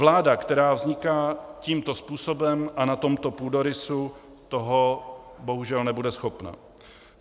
Vláda, která vzniká tímto způsobem a na tomto půdorysu, toho bohužel nebude schopna.